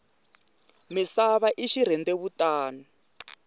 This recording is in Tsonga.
misava i xirhendewutani